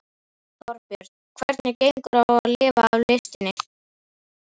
Þorbjörn: Hvernig gengur á að lifa af listinni?